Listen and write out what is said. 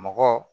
Mɔgɔ